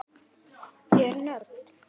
Ég er nörd.